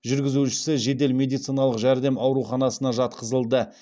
жүргізушісі жедел медициналық жәрдем ауруханасына жатқызылды